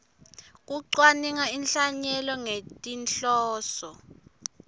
kucwaninga inhlanyelo ngetinhloso